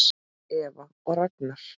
Eva og Ragnar.